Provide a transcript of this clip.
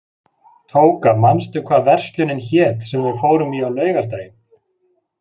Tóka, manstu hvað verslunin hét sem við fórum í á laugardaginn?